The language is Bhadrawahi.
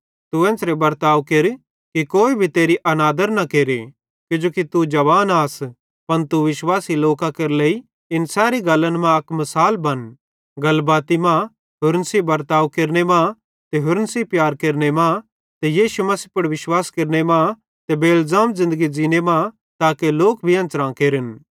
तू एन्च़रे बर्ताव केर कि कोई भी तेरी अनादर न केरे किजोकि तू जवान आस पन तू विश्वासी लोकां केरे लेइ इन सैरी गल्लन मां अक मिसाल बन गलबाती मां होरन सेइं बर्ताव केरने मां ते होरन सेइं प्यार केरने मां ते यीशु मसीह पुड़ विश्वास केरने मां ते बेइलज़ाम ज़िन्दगी ज़ींने मां ताके लोक भी एन्च़रां केरन